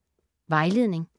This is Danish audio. Vejledning: